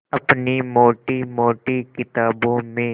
अपनी मोटी मोटी किताबों में